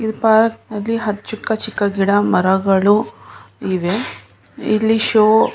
ಇದು ಪಾರ್ಕ್ ಅಲ್ಲಿ ಚಿಕ್ಕ ಚಿಕ್ಕ ಗಿಡ ಮರಗಳು ಇವೆ ಇಲ್ಲಿ ಷೋ --